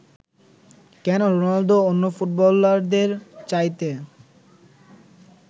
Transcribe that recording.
কেন রোনাল্ডো অন্য ফুটবলারদের চাইতে